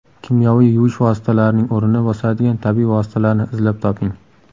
Kimyoviy yuvish vositalarining o‘rnini bosadigan tabiiy vositalarni izlab toping.